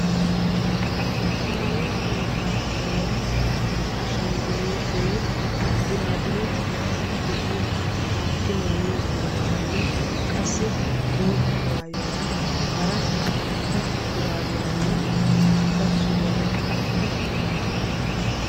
Maayo keetan kariyaan ashshanggulutee burabure meray de'iyoo aatti maayyiyo maayuwaranne qassi bootta maayuwaranne hara shurabiyaaranne karettaa suriyaara gixxidi eqqidoosona.